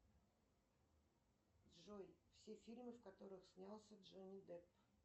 джой все фильмы в которых снялся джонни депп